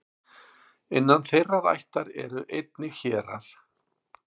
innan þeirrar ættar eru einnig hérar